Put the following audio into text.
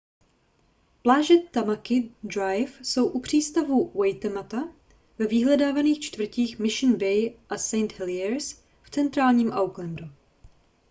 pláže tamaki drive jsou u přístavu waitemata ve vyhledávaných čtvrtích mission bay a st heliers v centrálním aucklandu